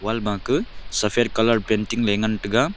ama ke saphat colour painting ley ngan taiga.